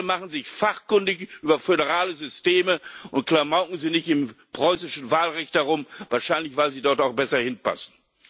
Bitte machen Sie sich fachkundig über föderale Systeme und klamauken Sie nicht im preußischen Wahlrecht herum wahrscheinlich, weil Sie dort auch besser hinpassen.